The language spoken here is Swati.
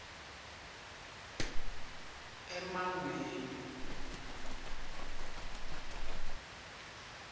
emangweni